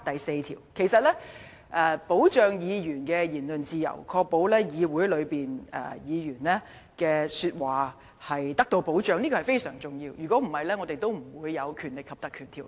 事實上，保障議員的言論自由，確保他們在議會內的說話得到保障是非常重要的，否則，我們也不會制定《條例》。